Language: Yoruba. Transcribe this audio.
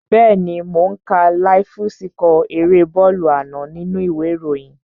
Bẹ́ẹ̀ni mò ó ń ka láíf síkọ̀ erée bọ́ọ̀lù àná nínú u ìwé ìròyìn